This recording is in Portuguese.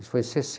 Isso foi em